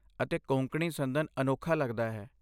ਅਤੇ ਕੋਂਕਣੀ ਸੰਦਨ ਅਨੋਖਾ ਲੱਗਦਾ ਹੈ।